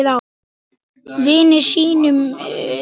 Vini sínum.